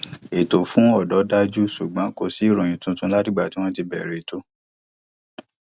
ètò fún ọdọ dájú ṣùgbọn kò sí ìròyìn tuntun láti ìgbà tí wọn bẹrẹ eto